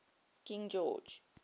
king george